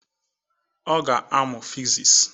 Ọ ga-amụ fiziks